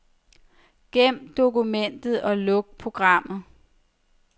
Gem dokumentet og luk programmet.